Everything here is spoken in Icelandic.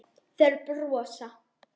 Þeir brosa.